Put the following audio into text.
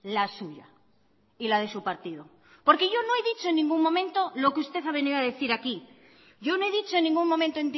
la suya y la de su partido porque yo no he dicho en ningún momento lo que usted ha venido a decir aquí yo no he dicho en ningún momento